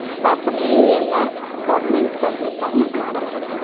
ಸ್ಥಾಪನೆಯು ಎಲ್ಲ ಗೋರ್ಮೆಂಟ್ ಗಳಿಂದಾನೆ ಮಾಡಲ್ಪಟ್ಟಿದೆ.